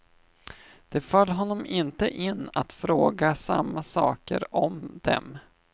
Det föll honom inte in att fråga samma saker om dem.